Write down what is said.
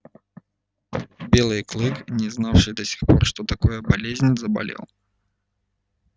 белый клык не знавший до сих пор что такое болезнь заболел